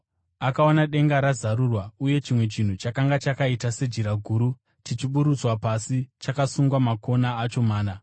Akaona denga razarurwa uye chimwe chinhu chakanga chakaita sejira guru chichiburutswa pasi chakasungwa makona acho mana.